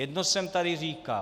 Jedno jsem tady říkal.